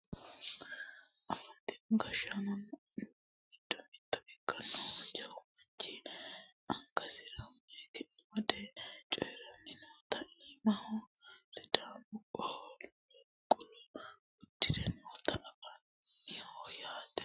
afantino gashshaanonna annuwu giddo mitto ikkinohu jawu manchi angasira mayiika amade coyiiranni noota iimahono sidaamu qolo uddire noota anfanniho yaate